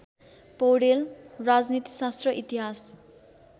पैाडेल राजनीतिशास्त्र इतिहास